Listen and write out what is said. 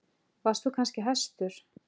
Varst þú kannski hæstur?